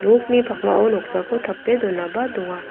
nokni pakmao noksako tape donaba donga.